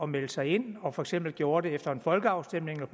melde sig ind og for eksempel gjorde det efter en folkeafstemning